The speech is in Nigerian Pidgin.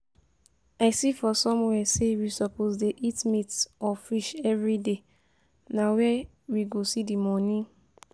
I see for somewhere sey we suppose dey eat meat or fish everyday, na where we go see the money?